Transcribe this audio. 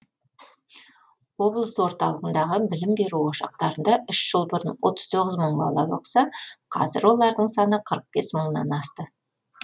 облыс орталығындағы білім беру ошақтарында үш жыл бұрын отыз тоғыз мың бала оқыса қазір олардың саны қырық бес мыңнан асты